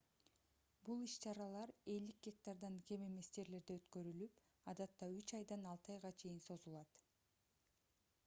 бул иш-чаралар 50 гектардан кем эмес жерлерде өткөрүлүп адатта үч айдан алты айга чейин созулат